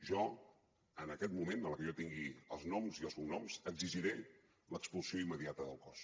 jo en aquest moment a la que jo tingui els noms i els cognoms exigiré l’expulsió immediata del cos